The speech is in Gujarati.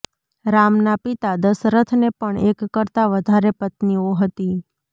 રામના પિતા દશરથને પણ એક કરતાં વધારે પત્નીઓ હતી